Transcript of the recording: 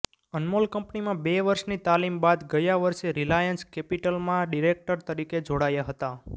અનમોલ કંપનીમાં બે વર્ષની તાલીમ બાદ ગયા વર્ષે રિલાયન્સ કેપિટલમાં ડિરેક્ટર તરીકે જોડાયા હતા